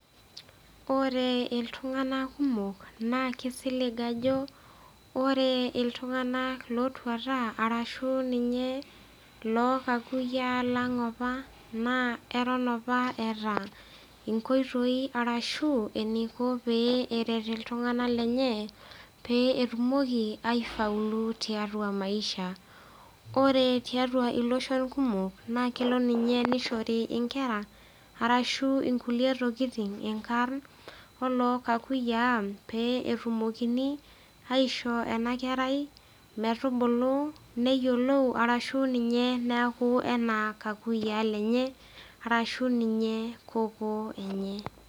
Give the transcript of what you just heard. Ore iltung'ana kumok naa keisilig ajo, ore iltung'ana otuata, ashu ninye noo kakuyiaa lang' opa, naa eton opa eata inkoitoi ashu eneiko pee eret iltung'ana lenye pee etumoki aifaulu tiatua maisha. Ore tiatua iloshon kumok naakelo ninye neishori inkera ashu kulie tokitin inkarn olookakuyiaa peyie etumokini aishoo enab kerai metubulu, neyiolou arashu ninye neaku anaa kakuyiaa enye arashu ninye kokoo enye.